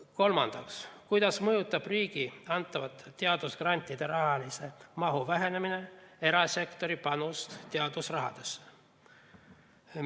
Kolmandaks, kuidas mõjutab riigi antavate teadusgrantide rahalise mahu vähenemine erasektori panust teadusrahadesse?